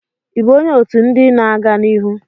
Ị bụ onye otu ndị na-aga n'ihu""?